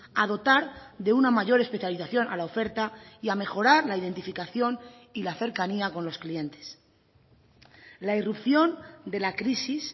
a dotar de una mayor especialización a la oferta y a mejorar la identificación y la cercanía con los clientes la irrupción de la crisis